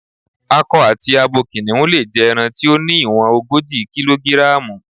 Akọ àti abo kìnìhún lè jẹ ẹran tí ó ní ìwọ̀n ogójì kílógíráàmù.